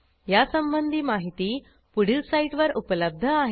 यासंबंधी माहिती पुढील साईटवर उपलब्ध आहे